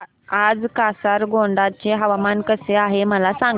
आज कासारगोड चे हवामान कसे आहे मला सांगा